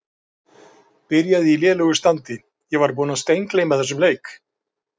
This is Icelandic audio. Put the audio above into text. Byrjaði í lélegu standi Ég var búinn að steingleyma þessum leik.